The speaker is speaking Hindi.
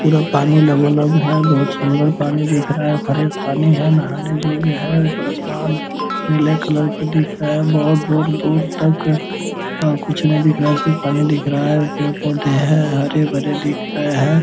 पूरा पानी लबालब है बहुत सुन्दर पानी दिख रखा है फ्रेस पानी है नहाने जोग्य है ऊपर आसमान नीले कलर का दिख रहा है बहुत दूर-दूर तक कुछ नहीं दिख रहा है सिर्फ पानी दिख रहा है पेड़-पौधे हैं हरे-भरे दिख रहा हैं ।